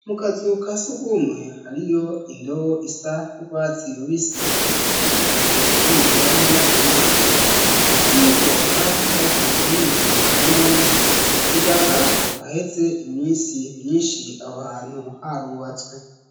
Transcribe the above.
Mu kazu ka sugumwe hariyo indobo isa n'urwatsi rubisi ikaba ibikwamwo amazi, n'ubwo arako mu buhinga bwanone bigaragara ko haheze imisi myinshi aho hantu harubatswe.